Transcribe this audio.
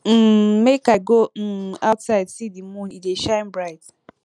um make i go um outside see di moon e dey shine bright